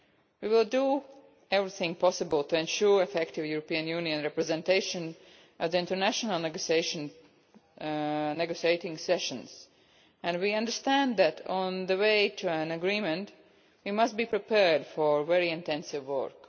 We will do everything possible to ensure effective European Union representation at international negotiating sessions, and we understand that on the way to an agreement we must be prepared for very intensive work.